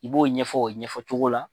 I b'o ɲɛfɔ o ɲɛfɔ cogo la.